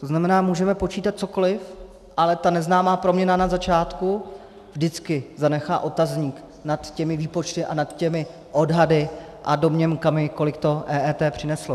To znamená, můžeme počítat cokoli, ale ta neznámá proměna na začátku vždycky zanechá otazník nad těmi výpočty a nad těmi odhady a domněnkami, kolik to EET přineslo.